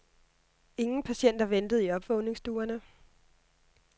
Ingen patienter ventede i opvågningsstuerne.